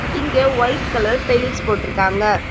இங்க white colour tiles போட்ருக்காங்க.